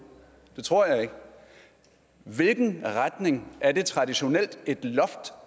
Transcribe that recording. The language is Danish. det tror jeg ikke hvilken retning er det traditionelt